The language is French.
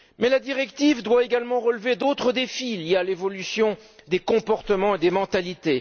La directive doit également relever d'autres défis il y a l'évolution des comportements et des mentalités.